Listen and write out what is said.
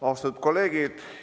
Austatud kolleegid!